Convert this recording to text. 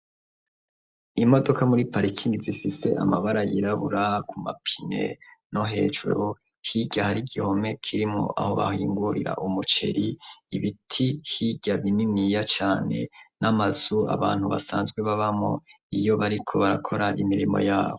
Imodoka muri parikini zifise amabara yirabura ku mapine no hejuru hirya hari igihome kirimo aho bahingurira umuceri ibiti hirya bininiya cane n'amazu abantu basanzwe babamo iyo bariko barakora imirimo yabo.